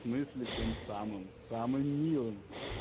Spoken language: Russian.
в смысле тем самым самым милым